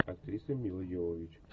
актриса мила йовович